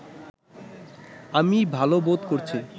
আমি ভাল বোধ করছি